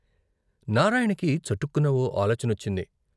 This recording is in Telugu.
నారాయణకి చటుక్కున ఓ ఆలోచనొచ్చింది.